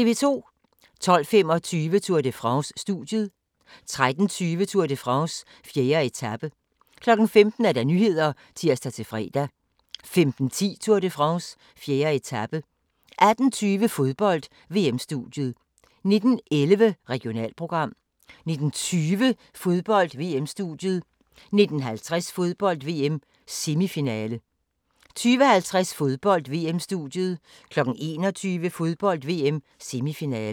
12:25: Tour de France: Studiet 13:20: Tour de France: 4. etape 15:00: Nyhederne (tir-fre) 15:10: Tour de France: 4. etape 18:20: Fodbold: VM-studiet 19:11: Regionalprogram 19:20: Fodbold: VM-studiet 19:50: Fodbold: VM - semifinale 20:50: Fodbold: VM-studiet 21:00: Fodbold: VM - semifinale